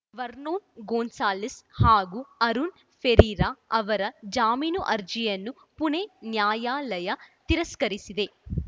Vernon Gonsalves ಹಾಗೂ ಅರುಣ್‌ ಫೆರೀರಾ ಅವರ ಜಾಮೀನು ಅರ್ಜಿಯನ್ನು ಪುಣೆ ನ್ಯಾಯಾಲಯ ತಿರಸ್ಕರಿಸಿದೆ